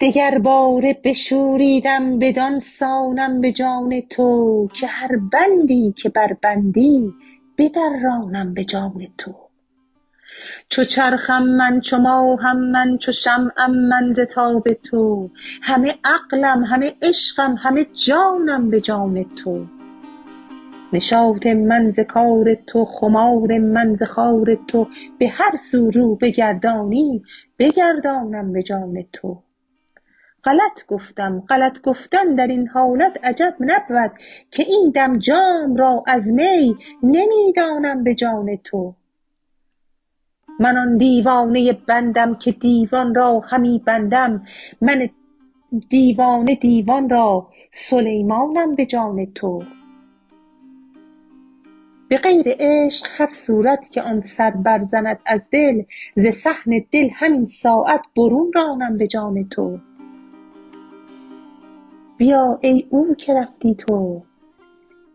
دگرباره بشوریدم بدان سانم به جان تو که هر بندی که بربندی بدرانم به جان تو چو چرخم من چو ماهم من چو شمعم من ز تاب تو همه عقلم همه عشقم همه جانم به جان تو نشاط من ز کار تو خمار من ز خار تو به هر سو رو بگردانی بگردانم به جان تو غلط گفتم غلط گفتن در این حالت عجب نبود که این دم جام را از می نمی دانم به جان تو من آن دیوانه بندم که دیوان را همی بندم من دیوانه دیوان را سلیمانم به جان تو به غیر عشق هر صورت که آن سر برزند از دل ز صحن دل همین ساعت برون رانم به جان تو بیا ای او که رفتی تو